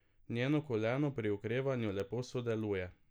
Njeno koleno pri okrevanju lepo sodeluje.